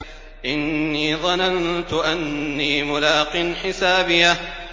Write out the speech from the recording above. إِنِّي ظَنَنتُ أَنِّي مُلَاقٍ حِسَابِيَهْ